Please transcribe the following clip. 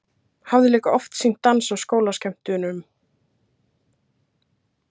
Hafði líka oft sýnt dans á skólaskemmtunum.